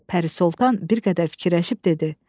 Pəri Sultan bir qədər fikirləşib dedi: